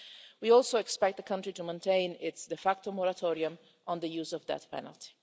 We also expect the country to maintain its de facto moratorium on the use of the death penalty.